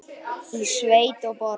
Í sveit og borg.